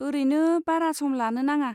औरैनो, बारा सम लानो नाङा।